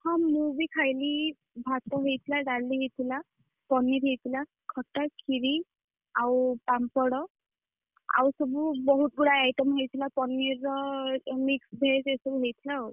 ହଁ ମୁଁ ବି ଖାଇଲି। ଭାତ ହେଇଥିଲା, ଡାଲି ହେଇଥିଲା। ପନିର ହେଇଥିଲା, ଖଟା, କ୍ଷୀରୀ ଆଉ ପାମ୍ପଡ। ଆଉ ସବୁ ବୋହୁତ ଗୁଡାଏ item ହେଇଥିଲା paneer ର mix veg ଏଇସବୁ ହେଇଥିଲା ଆଉ।